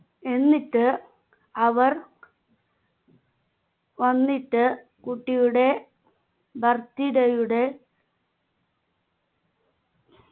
എന്നിട്ട് അവർ വന്നിട്ട് കുട്ടിയുടെ birthday യുടെ